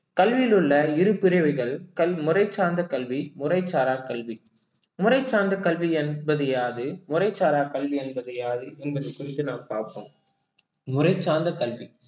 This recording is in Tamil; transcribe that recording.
கல்வியில் உள்ள இரு பிறவிகள் கல்~ சார்ந்த கல்வி, முறைச்சாரா கல்வி முறை சார்ந்த கல்வி என்பது யாது முறைச்சாரா கல்வி என்பது யாது என்பது குறித்து நாம் பார்ப்போம் முறை சார்ந்த கல்வி